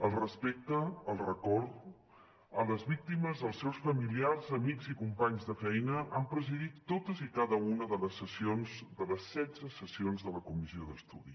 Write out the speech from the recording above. el respecte el record a les víctimes als seus familiars amics i companys de feina han presidit totes i cada una de les setze sessions de la comissió d’estudi